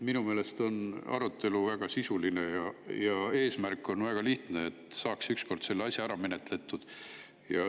Minu meelest on arutelu väga sisuline ja eesmärk on väga lihtne: et saaks ükskord selle asja ära menetletud.